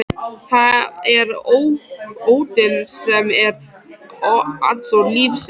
Það er óttinn sem er andstæða lífsins.